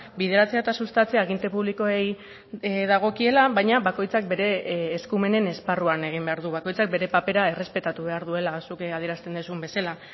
bideratzea eta sustatzea aginte publikoei dagokiela baina bakoitzak bere eskumenen esparruan egin behar du bakoitzak bere papera errespetatu behar duela zuk adierazten duzun bezala